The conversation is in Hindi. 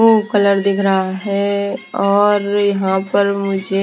वो कलर दिख रहा है और यहां पर मुझे।